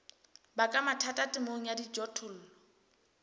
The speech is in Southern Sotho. baka mathata temong ya dijothollo